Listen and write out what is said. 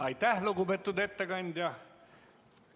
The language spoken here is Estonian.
Aitäh, lugupeetud ettekandja!